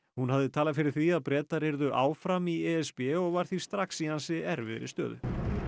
hún hafði talað fyrir því að Bretar yrðu áfram í e s b og var því strax í ansi erfiðri stöðu